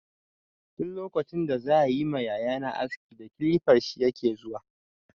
Duk lokacin da za yi ma yaya na aski da kilifar shi yake zuwa.